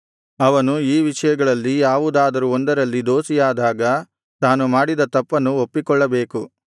ಅವನು ಈ ವಿಷಯಗಳಲ್ಲಿ ಯಾವುದಾದರೂ ಒಂದರಲ್ಲಿ ದೋಷಿಯಾದಾಗ ತಾನು ಮಾಡಿದ ತಪ್ಪನ್ನು ಒಪ್ಪಿಕೊಳ್ಳಬೇಕು